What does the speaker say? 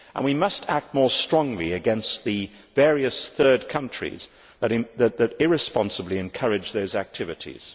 We must act more strongly against the various third countries that irresponsibly encourage those activities.